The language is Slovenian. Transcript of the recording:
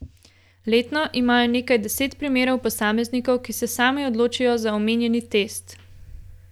Letno imajo nekaj deset primerov posameznikov, ki se sami odločijo za omenjeni test.